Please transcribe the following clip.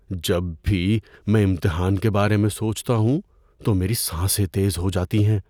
جب بھی میں امتحان کے بارے میں سوچتا ہوں تو میری سانسیں تیز ہو جاتی ہیں۔